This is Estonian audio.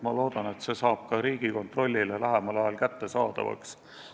Ma loodan, et see saab ka Riigikontrollile lähemal ajal kättesaadavaks.